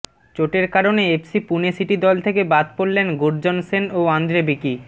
চোটের কারনে FC Pune City দল থেকে বাদ পড়লেন গুডজনসেন ও আন্দ্রে বিকি